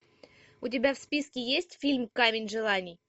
у тебя в списке есть фильм камень желаний